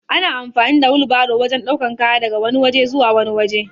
Ana amfani da wilbairo wajan ɗaukan kaya daga wani waje zuwa wani waje